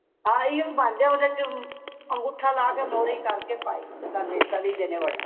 ਹਾਂ ਇਹੀ ਓ ਬਣਦੇ ਨੇ ਉਹਦੇ ਚ ਅੰਗੂਠਾ ਲਾ ਕੇ ਮੋਰੀ ਕਰਕੇ ਪਾਈ ਤਲੀ ਦੇ ਨੇ ਵਡੇ